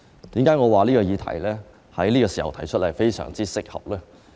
為何我說在此時提出此項議案非常適合呢？